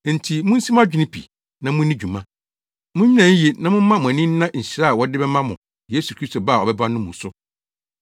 Enti munsi mo adwene pi na munni dwuma. Munnyina yiye na momma mo ani nna nhyira a wɔde bɛma mo Yesu Kristo ba a ɔbɛba no mu no so.